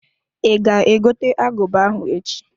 I ga egote aguba ahụ echi?